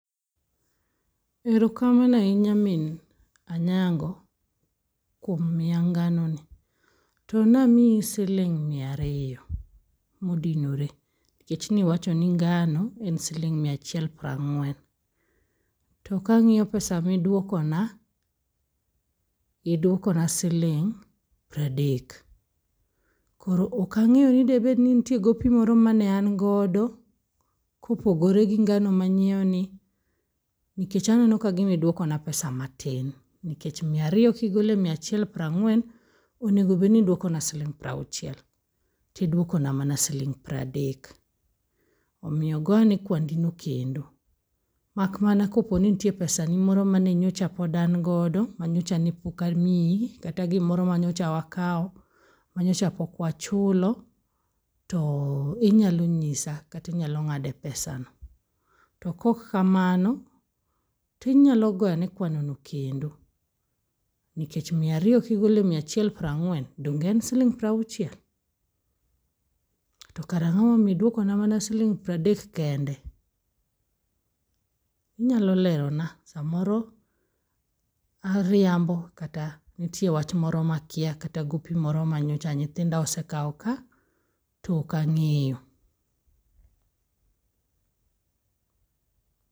Erokamano ahinya min Anyango kuom mia ngano ni. To namii siling' miario modinore, nikech niwacho ni ngano en siling' miachiel prang'wen. To kang'io pesa midwokona, idwokona siling' pradek. Koro okang'eyo ni debede ni nentiere gopi moro mane angodo kopogore gi ngano manyieoni, nikech aneno kagima iduokona pesa matin. Nkech miario kigole miachiel prang'wen onego bedni iduokona siling' prauchiel, tidwokona mana siling' pradek. Omio goane kwandino kendo, makmana koponi nitiere pesani moro mane nyocha pod angodo, manyochane pokamii, kata gimoro manyocha wakao manyocha pokwachulo to oh inyalo nyisa katinyalo ng'ade pesano. To kok kamano tinyalo goaene kwanono kendo, nikech miario kigole miachiel prang'wen donge en siling' prauchiel? To kara ang'omomio iduokona mana siling' pradek kende? Inyalo lerona. Samoro ariambo kata nitie wach moro makia kata gopi moro manyocha nyithinda osekao ka to okang'eyo.